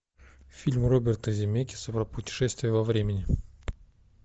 фильм роберта земекиса про путешествие во времени